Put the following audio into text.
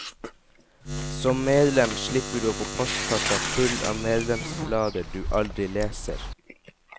Som medlem slipper du å få postkassa full av medlemsblader du aldri leser.